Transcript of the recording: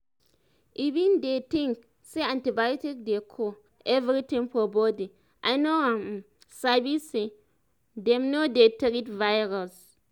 i been dey think say antibiotic dey cure everything for body i no um sabi say them no dey treat virus